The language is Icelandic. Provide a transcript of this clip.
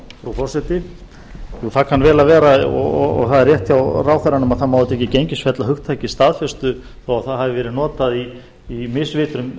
frú forseti það kann vel að vera og það er rétt hjá ráðherranum að það má auðvitað ekki gengisfella hugtakið staðfestu þó að það hafi verið notað í misvitrum